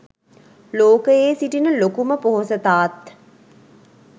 ලෝකයේ සිටින ලොකුම පොහොසතාත්